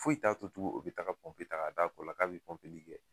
Foyi t'a to tugu o be taga pɔnpe tag'a d'a kɔla k'a be pɔnpeli kɛ